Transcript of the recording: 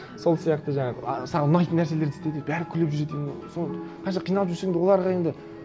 сол сияқты жаңағы а саған ұнайтын нәрселерді істе деп бәрі күліп жүреді и ол сол қанша қиналып жүрсең де оларға енді